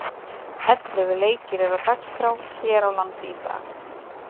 Ellefu leikir eru á dagskrá hér á landi í dag.